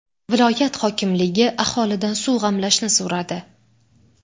Viloyat hokimligi aholidan suv g‘amlashni so‘radi.